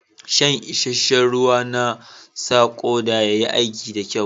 Shan isheshe'n ruwa na sa koda ya yi aiki da kyau.